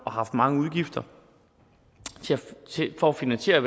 og haft mange udgifter for at finansiere